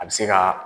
A bɛ se ka